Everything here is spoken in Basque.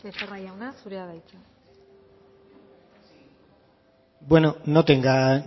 becerra jauna zurea da hitza bueno no tenga